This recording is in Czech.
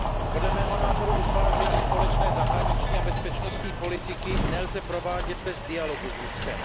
Podle mého názoru utváření společné zahraniční a bezpečnostní politiky nelze provádět bez dialogu s Ruskem.